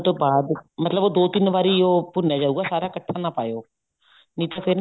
ਤੋਂ ਬਾਅਦ ਮਤਲਬ ਉਹ ਦੋ ਤਿੰਨ ਵਾਰੀ ਭੁੰਨਿਆ ਜਾਉਗਾ ਸਾਰਾ ਇੱਕਠਾ ਨਾ ਪਾਇਓ ਨਹੀਂ ਤਾਂ ਫ਼ੇਰ